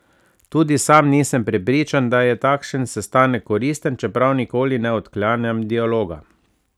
Tudi sam nisem prepričan, da je takšen sestanek koristen, čeprav nikoli ne odklanjam dialoga.